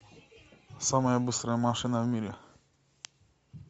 самая быстрая машина в мире